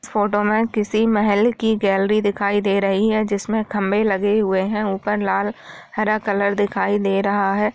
Photo में किसी महल की गैलरी दिखाई दे रही है जिसमे खंबे लगे हुए हैऊपर लाल हरा कलर दिखाई दे रहा है।